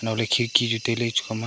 mua ley khi khi tai ley chu kow ma.